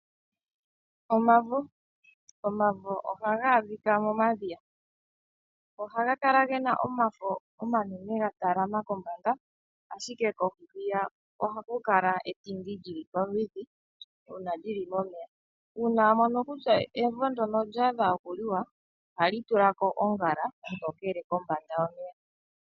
Omavo, omavo ohaga adhika momadhiya ohaga kala gena omafo omanene gatalama kombanda ashike kohi hwiya ohaku kala etindi lyiliko olindji una lili momeya. Uuna wamono kutya evo ndyoka olyadha okuliwa ohali tula ko oongala oontokele kombanda yomeya.